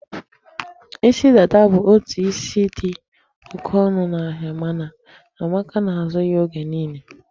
Isi dada bụ otu isi dị oke ọnụ n'ahịa, mana Amaka na-azụ ya oge niile.